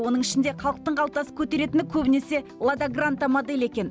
оның ішінде халықтың қалтасы көтеретіні көбінесе лада гранта моделі екен